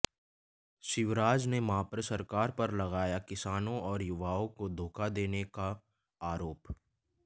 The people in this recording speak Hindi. शिवराज ने मप्र सरकार पर लगाया किसानों और युवाओं को धोखा देने का आरोप